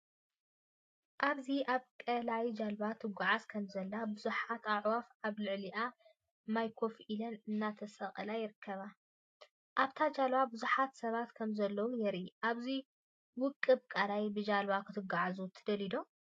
ኣብዚ ኣብ ቀላይ ጃልባ ትጓዓዝ ከምዘላን ብዙሓት ኣዕዋፍ ኣብ ልዕሊ ማይ ኮፍ ኢለን እናተቀሳቀሳን ይርከባ። ኣብታ ጃልባ ብዙሓት ሰባት ከምዘለዉ የርኢ። ኣብዚ ውቁብ ቀላይ ብጃልባ ክትጓዓዙ ትደልዩ ዶ?